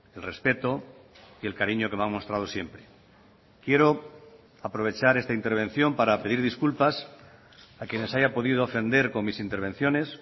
el respeto y el cariño que me ha mostrado siempre quiero aprovechar esta intervención para pedir disculpas a quienes haya podido ofender con mis intervenciones